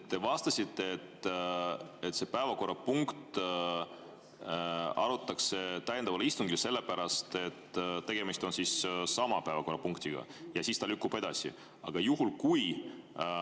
Te vastasite, et seda päevakorrapunkti arutatakse täiendaval istungil sellepärast, et tegemist on sama päevakorrapunktiga,.